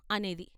" అనేది.